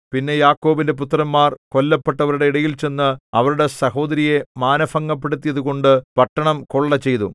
പിന്നെ യാക്കോബിന്റെ പുത്രന്മാർ കൊല്ലപ്പെട്ടവരുടെ ഇടയിൽ ചെന്നു അവരുടെ സഹോദരിയെ മാനഭംഗപ്പെടുത്തിയതുകൊണ്ടു പട്ടണം കൊള്ള ചെയ്തു